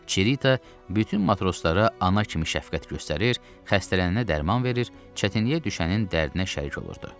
Çerita bütün matroslara ana kimi şəfqət göstərir, xəstələnənə dərman verir, çətinliyə düşənin dərdinə şərik olurdu.